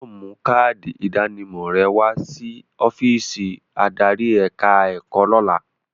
O gbọdọ̀ mú káádì ìdánimọ̀ rẹ wa sí ọ́físì adarí ẹ̀ka ẹ̀kọ́ lọ́la.